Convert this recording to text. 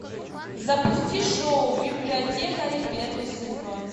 запусти шоу библиотекари первый сезон